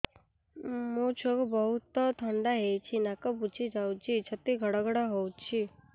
ମୋ ଛୁଆକୁ ବହୁତ ଥଣ୍ଡା ହେଇଚି ନାକ ବୁଜି ଯାଉଛି ଛାତି ଘଡ ଘଡ ହଉଚି